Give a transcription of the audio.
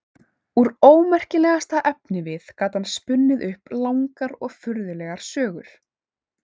Úr ómerkilegasta efnivið gat hann spunnið upp langar og furðulegar sögur.